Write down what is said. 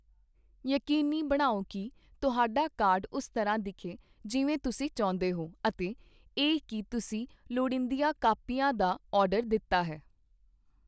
ਯਕੀਨੀ ਬਣਾਓ ਕੀ ਤੁਹਾਡਾ ਕਾਰਡ ਉਸ ਤਰ੍ਹਾਂ ਦਿਖੇ ਜਿਵੇਂ ਤੁਸੀਂ ਚਾਹੁੰਦੇ ਹੋ, ਅਤੇ ਇਹ ਕੀ ਤੁਸੀਂ ਲੋੜੀਂਦੀਆਂ ਕਾਪੀਆਂ ਦਾ ਆਰਡਰ ਦਿੱਤਾ ਹੈ।